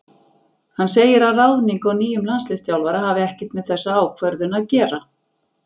Hann segir að ráðning á nýjum landsliðsþjálfara hafi ekkert með þessa ákvörðun að gera.